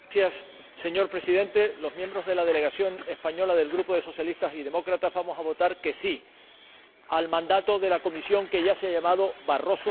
Señor Presidente, los miembros de la delegación española del Grupo de los Socialistas y Demócratas vamos a votar que sí al mandato de la Comisión que ya se ha llamado Barroso II.